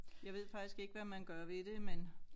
Jeg ved faktisk ikke hvad man gør ved det men